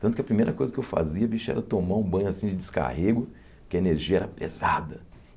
Tanto que a primeira coisa que eu fazia, bicho, era tomar um banho assim de descarrego, que a energia era pesada.